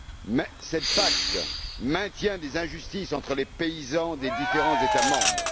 Mais cette PAC maintient les injustices entre les paysans des différents États membres.